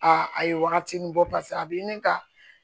Aa a ye wagati nin bɔ paseke a bɛ ɲini ka